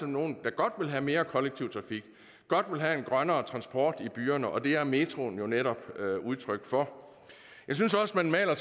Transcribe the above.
nogen der godt ville have mere kollektiv trafik godt ville have en grønnere transport i byerne og det er metroen jo netop udtryk for jeg synes også man maler